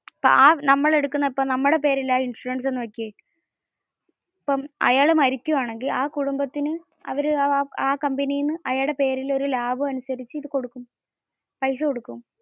നമ്മുടെ പേരിലാണ് ഇൻഷുറൻസ് എന്ന വെച്ചാൽ. ഇപ്പം അയാൾ മരിക്കുവാണെങ്കിൽ ആ കുടുംബത്തിന് ആ കമ്പനിന്ന് അയാളുടെ പേരിൽ ഒരു ലാഭം അനുസരിച്ച കൊടുക്കും. പൈസ കൊടുക്കും.